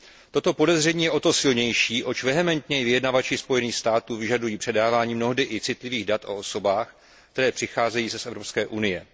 Toto podezření je o to silnější, oč vehementněji vyjednavači Spojených států vyžadují předávání mnohdy i citlivých dat o osobách, které přicházejí z Evropské unie.